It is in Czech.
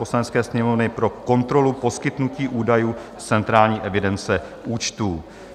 Poslanecké sněmovny pro kontrolu poskytnutí údajů z centrální evidence účtů